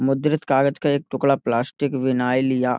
मुद्रित कागज़ का एक टुकड़ा प्लास्टिक विनाइल या --